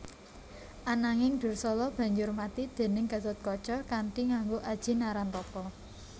Ananging Dursala banjur mati déning Gatotkaca kanthi nganggo aji Narantaka